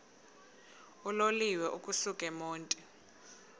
uloliwe ukusuk emontini